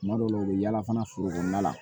Tuma dɔw la u bɛ yaala fana foro kɔnɔna la